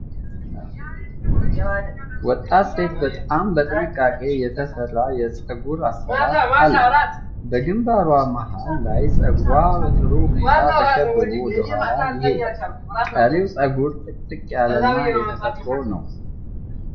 ወጣት ሴት በጣም በጥንቃቄ የተሰራ የፀጉር አሠራር አላት። በግንባሯ መሐል ላይ ፀጉሯ በጥሩ ሁኔታ ተሸብቦ ወደ ኋላ ይሄዳል። ቀሪው ፀጉር ጥቅጥቅ ያለ እና የተፈጥሮ ነው።